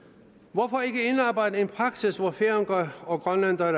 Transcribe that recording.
hvorfor ikke indarbejde en praksis hvor færinger og grønlændere